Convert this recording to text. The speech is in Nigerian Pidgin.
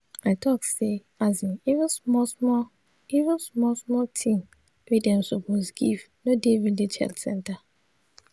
i talk say asin even small small even small small thing wey dem suppose give no dey village health center.